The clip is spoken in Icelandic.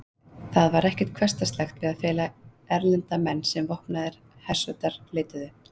Það var ekkert hversdagslegt við að fela erlenda menn sem vopnaðar hersveitir leituðu.